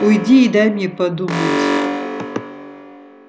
уйди и дай мне подумать